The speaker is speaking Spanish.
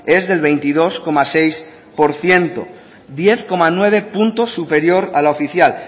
es del veintidós coma seis por ciento diez coma nueve puntos superior a la oficial